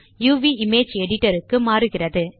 uvஇமேஜ் editor க்கு மாறுகிறது